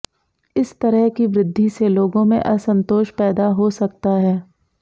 इस तरह की वृद्धि से लोगों में असंतोष पैदा हो सकता है